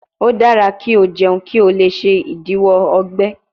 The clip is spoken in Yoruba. O dara ki o jẹun ki o le ṣe idiwọ ọgbẹ